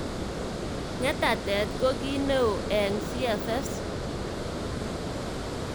Ngetatet ko ki neo eng CFS.